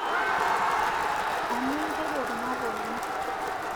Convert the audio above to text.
Anu itejo kuna pookin